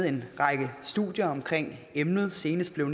en række studier om emnet senest blev